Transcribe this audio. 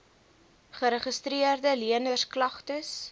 geregistreede leners klagtes